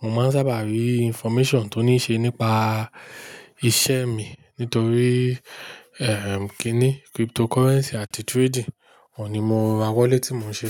mo máa ń sábà rí information tó ní ṣe nípa iṣẹ́ mi. Nítorí, ẹm, kí ni cryptocurrency àti trading, òun ni mọ ra wọlé tí mò ń ṣe.